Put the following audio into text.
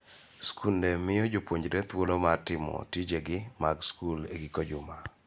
Skunde miyo jopuonjre thuolo mar timo tijegi mag skul e giko juma.